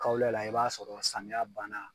Kawla i b'a sɔrɔ samiya banna.